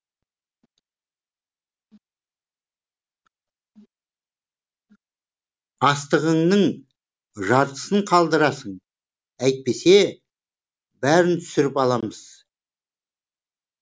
астығыңның жартысын қалдырасың әйтпесе бәрін түсіріп аламыз